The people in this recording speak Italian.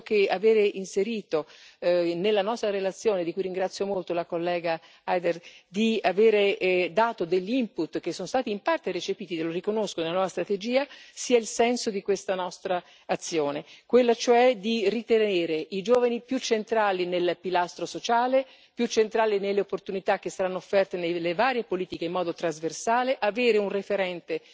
Penso che avere inserito nella nostra relazione, di cui ringrazio molto la collega Eider, di avere dato degli input che sono stati in parte recepiti, lo riconosco, nella nuova strategia, sia il senso di questa nostra azione, quella cioè di ritenere i giovani più centrali nel pilastro sociale, più centrali nelle opportunità che saranno offerte nelle varie politiche in modo trasversale, avere un referente